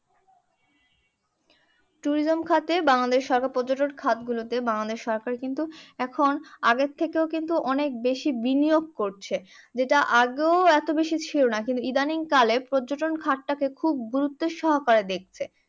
Tourism খাতে বাংলাদেশ সরকার পর্যটন খাত গুলোতে বাংলাদেশ সরকার কিন্তু এখন আগের থেকেও কিন্তু অনেক বেশি বিনিয়োগ করছে যেটা আগেও এতবেশি ছিলোনা। কিন্তু ইদানিং কালে পর্যটন খাতটা কে খুব গুরুত্ব সহকারে দেখছে।